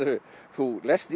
þú lest